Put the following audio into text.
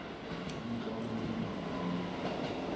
imitlolo kwelinye nelinye